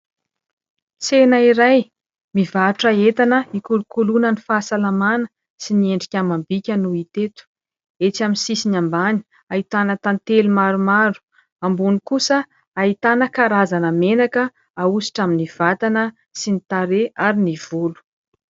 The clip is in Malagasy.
Tsena iray mivarotra entana hikolokoloana ny fahasalamana sy ny endrika amam-bika no hita eto. Etsy amin'ny sisiny ambany, ahitana tantely maromaro. Ambony kosa ahitana karazana menaka ahosotra amin'ny vatana sy ny tarehy ary ny volo.